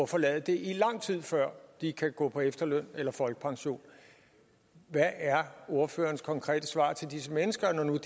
forlade det lang tid før de kan gå på efterløn eller folkepension hvad er ordførerens konkrete svar til disse mennesker når nu